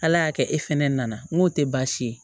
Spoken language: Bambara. Ala y'a kɛ e fɛnɛ nana n'o tɛ baasi ye